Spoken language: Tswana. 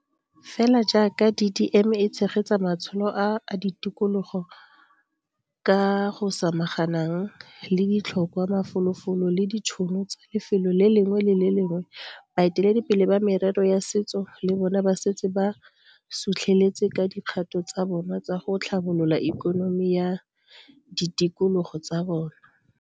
Fela jaaka DDM e tshegetsa matsholo a a ditikologo ka go samaganang le ditlhokwa, mafolofolo le ditšhono tsa lefelo le lengwe le le lengwe, baeteledipele ba merero ya setso le bona ba setse ba sutlheletse ka dikgato tsa bona tsa go tlhabolola ikonomi ya ditikologo tsa bona.